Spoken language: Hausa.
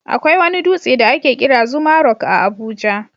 Akwai wani dutse da ake kira Zuma Rock a Abuja.